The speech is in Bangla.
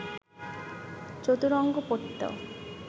চতুরঙ্গ পড়ত